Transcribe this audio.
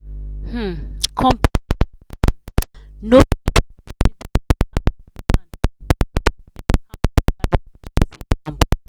um company um no fit continue their expansion plan because of um how dollar rate just dey jump.